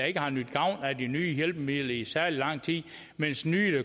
ikke har nydt gavn af de nye hjælpemidler i særlig lang tid mens nye